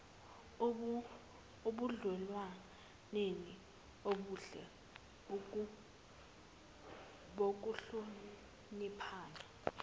ebudlelwaneni obuhle bokuhloniphana